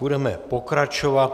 Budeme pokračovat.